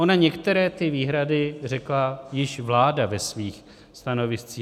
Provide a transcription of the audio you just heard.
Ono některé ty výhrady řekla již vláda ve svých stanoviscích.